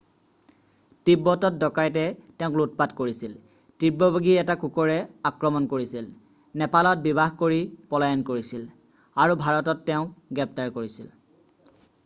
তীব্বতত ডকাইতে তেওঁক লুটপাট কৰিছিল তীব্ৰবেগী এটা কুকৰে আক্ৰমণ কৰিছিল নেপালত বিবাহ কৰি পলায়ন কৰিছিল আৰু ভাৰতত তেওঁক গ্ৰেপ্তাৰ কৰিছিল